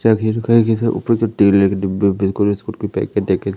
किसी ऊपर के के डिब्बे बिल्कुल बिस्किट के पैकेट देखे--